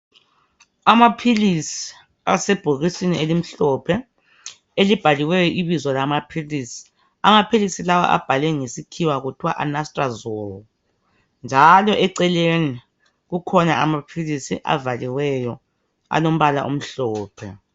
Amaphilisi asebhokisini elimhlophe elibhaliweyo ibizo lama philisi .Amaphilisi lawa abhalwe ngesikhiwa kuthiwa anastrozole njalo eceleni kukhona amaphilisi avaliweyo alombala omhlophe .